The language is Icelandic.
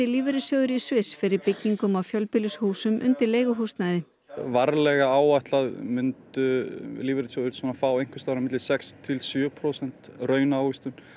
lífeyrissjóðir í Sviss fyrir byggingum á fjölbýlishúsum undir leiguhúsnæði varlega áætlað myndu lífeyrissjóðir fá sex til sjö prósenta raunávöxtun